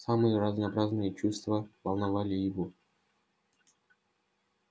самые разнообразные чувства волновали его